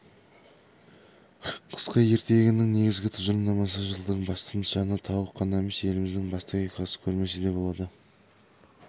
қысқы ертегінің негізгі тұжырымдамасы жылдың басты нышаны тауық қана емес еліміздің басты оқиғасы көрмесі де болады